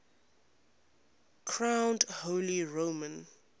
crowned holy roman